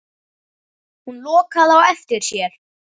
Hún lokaði á eftir sér.